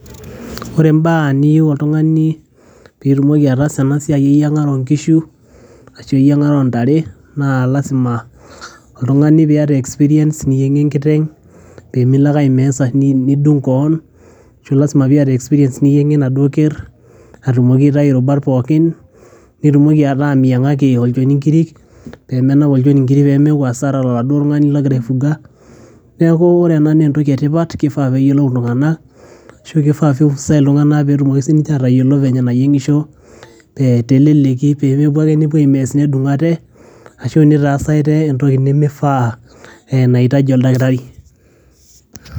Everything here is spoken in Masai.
ore imbaa niyieu oltung'ani pitumoki ataasa ena siai eyiang'are onkishu ashu eyiang'are ontare naa lasima oltung'ani piyata experience niyieng'ie enkiteng pemilo ake ae mess nidung koon ashu lasima piyata experience niyieng'ie enaduo kerr atumoki aitai irubat pookin nitumoki ataa miyiang'aki olchoni inkirik pemenap olchoni inkirik pemeeku hasara toladuo tung'ani logira aifuga neeku ore ena naa entoki etipat kifaa peyiolou iltung'anak ashu kifaa vifuzai iltung'anak petu, moki sininche atayiolo venye enayieng'isho te teleleki pemepuo ake nepuo ae mess nedung ate ashu nitaas ate entoki nemifaa ee naitaji oldakitari.